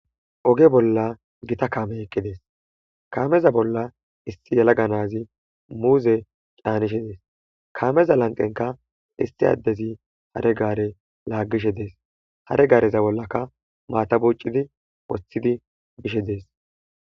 oge bolla gita kaame eqqidees kaameza bolla issi yalaga nazi muuze caanishe dees kaameza lanqenka issi addezi hare gaare laaggishe dees hare gaareza bollaka maatabuccidi woththidi bishe dees